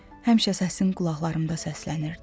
Həmişə səsin qulaqlarımda səslənirdi.